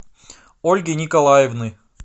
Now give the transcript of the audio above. ольги николаевны